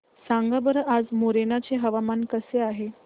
सांगा बरं आज मोरेना चे हवामान कसे आहे